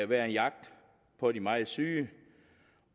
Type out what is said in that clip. være en jagt på de meget syge